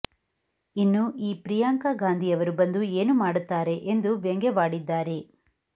ಇನ್ನು ಈ ಪ್ರಿಯಾಂಕಾ ಗಾಂಧಿ ಅವರು ಬಂದು ಏನು ಮಾಡುತ್ತಾರೆ ಎಂದು ವ್ಯಂಗವಾಡಿದ್ದಾರೆ